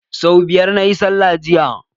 So biyar na yi sallah jiya.